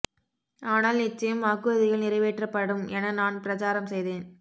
ஆனால் நிச்சயம் வாக்குறுதிகள் நிறைவேற்றப்படும் என நான் பிரசாரம் செய்தேன்